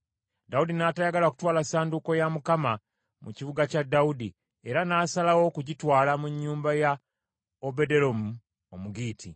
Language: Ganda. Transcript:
Dawudi n’atayagala kutwala ssanduuko ya Mukama mu kibuga kya Dawudi, era n’asalawo okugitwala mu nnyumba ya Obededomu Omugitti.